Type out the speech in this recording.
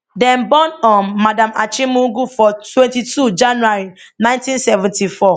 dem born um madam achimugu for twenty two january ninteen seventy four